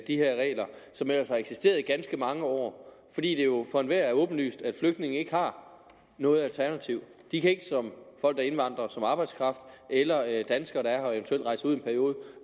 de her regler som ellers har eksisteret i ganske mange år fordi det jo for enhver er åbenlyst at flygtninge ikke har noget alternativ de kan ikke som folk der indvandrer som arbejdskraft eller eller danskere der i en periode